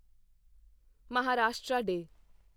Maharashtra day